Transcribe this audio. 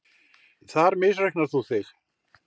Þar misreiknar þú þig.